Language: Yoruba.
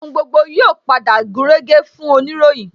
Ohun gbogbo yóò padà gúnrégé fún oniroyin